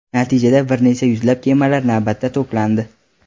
Natijada bir necha yuzlab kemalar navbatda to‘plandi.